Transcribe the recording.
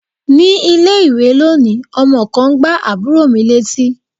Ní ilé-ìwé lónìí, ọmọ kan gbá àbúrò mi létí.